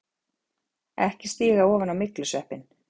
EKKI STÍGA OFAN Á MYGLUSVEPPINN!